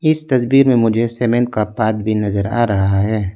इस तस्वीर में मुझे सीमेंट का पाथ भी नज़र आ रहा है।